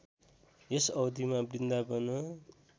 यस अवधिमा वृन्दावन